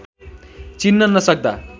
चिन्न नसक्दा